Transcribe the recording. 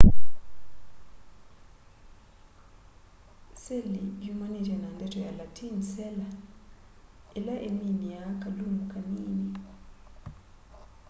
seli yumanite na ndeto ya latin cella ila iminiaa kalumu kanini